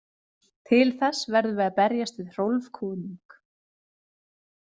Til þess verðum við að berjast við Hrólf konung.